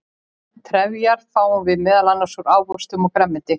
trefjar fáum við meðal annars úr ávöxtum og grænmeti